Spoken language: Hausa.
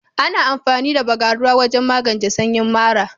Ana amfani da Bagaruwa wajen magance sanyi mara.